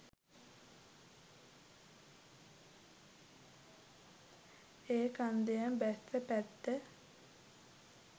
ඒ කන්දෙම බැස්ස පැත්ත